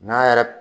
N'a yɛrɛ